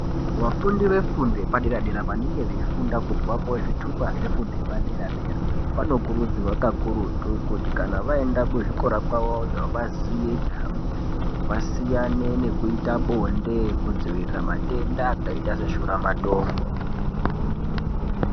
Vafundi vefundo zvepadera dera vanenge veifunda kuti vapuwe zvitupa zvefundo yepadera dera anokurudzirwa kakurutu kuti Kana vaenda kuzvikora kwavoyo kuti vaziye chihambire vasiyane nekuita bonde kudzivirira matenda akaita seshura matongo.